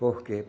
Por quê?